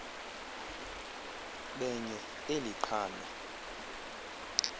benye eli qhalo